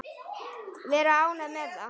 Vera ánægð með það.